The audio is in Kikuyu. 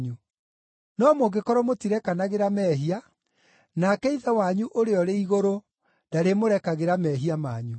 No mũngĩkorwo mũtirekanagĩra mehia, nake Ithe wanyu ũrĩa ũrĩ igũrũ ndarĩmũrekagĩra mehia manyu.)